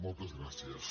moltes gràcies